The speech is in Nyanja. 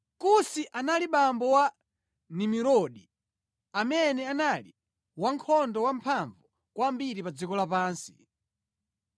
Kusi anabereka Nimurodi amene anali wankhondo wamphamvu kwambiri pa dziko lapansi.